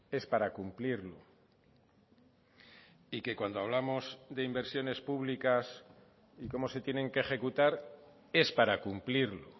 es para cumplirlo y que cuando hablamos de inversiones públicas y cómo se tienen que ejecutar es para cumplirlo